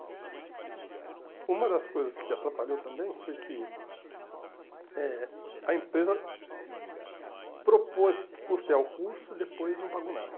E uma das coisas que atrapalhou também foi que eh a empresa propôs custear o curso e depois não pagou nada.